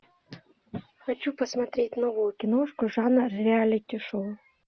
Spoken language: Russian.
хочу посмотреть новую киношку жанр реалити шоу